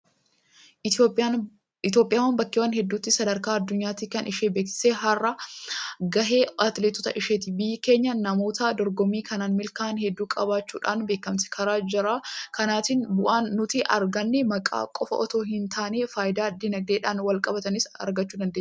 Itoophiyaan bakkeewwan hedduutti sadarkaa addunyaatti kan ishee beeksisaa har'a gahe atileetota isheeti. Biyyi keenya namoota dorgommii kanaan milkaa'an hedduu qabaachuudhaan beekamti. Karaa jara kanaatiin bu'aan nuti arganne maqaa qofa itoo hintaane faayidaa diinagdeedhaan walqabatanis argachuu dandeenyeerra.